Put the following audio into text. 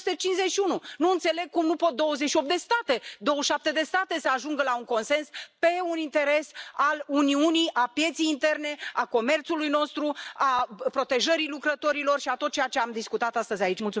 751. Nu înțeleg cum nu pot 28 de state, 27 de state să ajungă la un consens în ceea ce privește un interes al Uniunii, al pieței interne, al comerțului nostru, al protejării lucrătorilor și tot ceea ce am discutat astăzi aici.